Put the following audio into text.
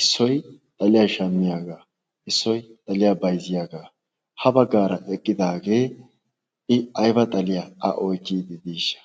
issoy xaliyaa shammiyaagaa issoy xaliyaa bayzziyaagaa ha baggaara eqqidaagee i aiba xaliyaa a oychchiidi diishsha